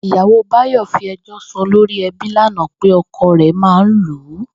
Ìyàwó Báyò̩ fi e̩jó̩ sun olórí e̩bí lánàá pé o̩ko̩ rè̩ máa ń lù ú